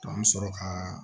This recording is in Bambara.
an bɛ sɔrɔ ka